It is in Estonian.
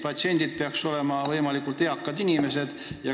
Patsiendid peaksid olema võimalikult eakad inimesed.